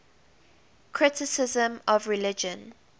criticism of religion